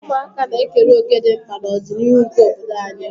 Ụmụaka na-ekere òkè dị mkpa n'ọdịniihu nke obodo anyị.